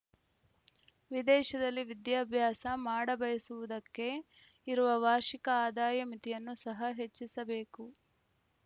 ವಿದೇಶದಲ್ಲಿ ವಿದ್ಯಾಭ್ಯಾಸ ಮಾಡಬಯಸುವುದಕ್ಕೆ ಇರುವ ವಾರ್ಷಿಕ ಅದಾಯ ಮಿತಿಯನ್ನು ಸಹ ಹೆಚ್ಚಿಸಬೇಕು